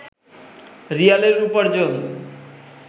রিয়ালের উপার্জন